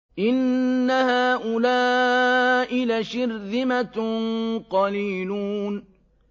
إِنَّ هَٰؤُلَاءِ لَشِرْذِمَةٌ قَلِيلُونَ